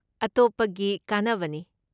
ꯑꯇꯣꯞꯄꯒꯤ ꯀꯥꯟꯅꯕꯅꯤ꯫